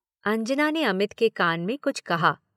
अंजना ने अमित के कान में कुछ कहा।